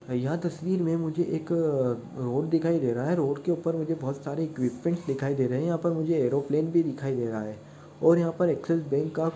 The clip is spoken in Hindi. '' यह तस्वीर में मुझे एक अ रोड दिखाई दे रहा है रोड के ऊपर मुझे बहुत सारे इक्वीपमेन्ट और यहाँ पे एरोप्लेन भी दिखाई दे रहें है। और यहाँ पर एक्सीस बँक का-- ''